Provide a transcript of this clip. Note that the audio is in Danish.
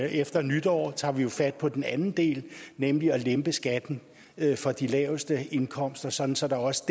og efter nytår tager vi jo fat på den anden del nemlig at lempe skatten for de laveste indkomster sådan så der også